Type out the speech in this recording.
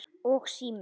Og síminn.